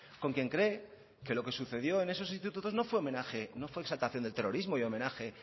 con quien cree que lo que sucedió en esos institutos no fue homenaje no fue exaltación del terrorismo y homenaje